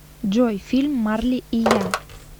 джой фильм марли и я